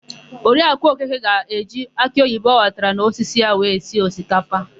Oriakụ Okeke ga-eji akịoyibo ọ ghọtara n'osisi ya wee sie osikapa.